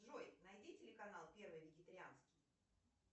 джой найди телеканал первый вегетарианский